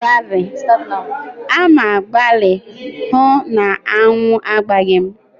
A ma-agbali ịhụ na aṅụ agbaghị mụ.